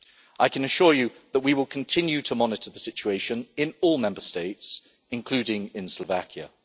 I can assure you that we will continue to monitor the situation in all Member States, including in Slovakia.